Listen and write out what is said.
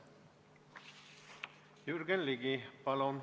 Jürgen Ligi, palun!